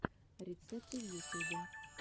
рецепты в ютюбе